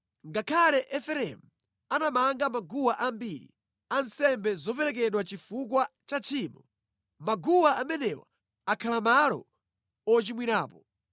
“Ngakhale Efereimu anamanga maguwa ambiri a nsembe zoperekedwa chifukwa cha tchimo, maguwa amenewa akhala malo ochimwirapo.